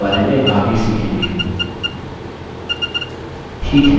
हम इनके बारे में आगे सीखेंगे